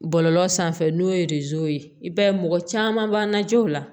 Bɔlɔlɔ sanfɛ n'o ye ye i b'a ye mɔgɔ caman b'an najow la